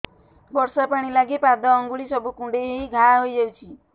ବର୍ଷା ପାଣି ଲାଗି ପାଦ ଅଙ୍ଗୁଳି ସବୁ କୁଣ୍ଡେଇ ହେଇ ଘା ହୋଇଯାଉଛି